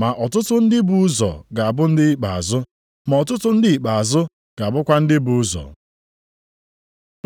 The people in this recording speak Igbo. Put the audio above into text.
Ma ọtụtụ ndị bu ụzọ ga-abụ ndị ikpeazụ, ma ọtụtụ ndị ikpeazụ ga-abụkwa ndị bu ụzọ.”